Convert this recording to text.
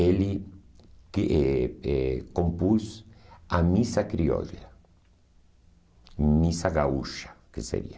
Ele que eh eh compôs a Missa Criolla, Missa Gaúcha, que seria.